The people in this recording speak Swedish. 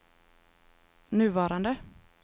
nuvarande